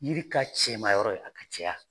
Yiri ka cɛmayɔrɔ ye a ka cɛya.